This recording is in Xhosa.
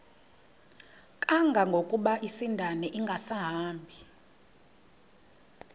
kangangokuba isindane ingasahambi